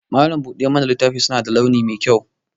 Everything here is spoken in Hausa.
Malam buɗe mana littafi suna da launi mai kyau